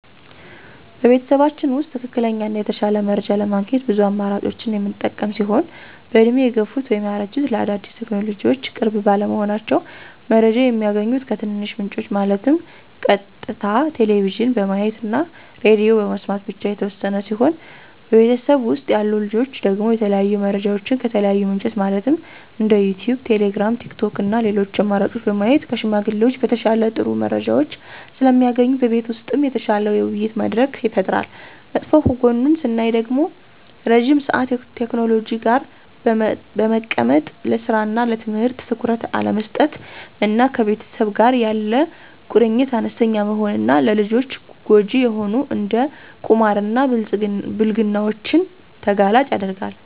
በቤተሰባችን ውስጥ ትክክለኛ እና የተሻለ መረጃ ለማግኘት ብዙ አማራጮችን የምንጠቀም ሲሆን በእድሜ የገፉት (ያረጁት) ለአዳዲስ ቴክኖሎጅዎች ቅርብ ባለመሆናቸው። መረጃ የሚያገኙት ከትንንሽ ምንጮች ማለትም ቀጥታ ቴሌቭዥን በማየት እና ሬድዬ በመስማት ብቻ የተወሰነ ሲሆን በቤተሰብ ውስጥ ያሉ ልጆች ደግሞ የተለያዩ መረጃዎችን ከተለያዩ ምንጮች ማለትም እንደ ዩቲዩብ: ቴሌግራም: ቲክቶክ እና ሌሎች አማራጭ በማየት ከሽማግሌዎች በተሻለ ጥሩ መረጃዎች ስለሚያገኙ በቤት ውስጥ የተሻለ የውይይት መድረክ ይፈጠራል። መጥፎ ጎኑን ስናይ ደግሞ ረዥም ሰአት ቴክኖሎጂ ጋር በመቀመጥ ለስራ እና ለትምህርት ትኩረት አለመስጠት እና ከቤተሰብ ጋር ያለ ቁርኝት አነስተኛ መሆን እና ለልጆች ጎጅ የሆኑ እንደ ቁማር እና ብልግናዎችን ተጋላጭ ያደርጋል።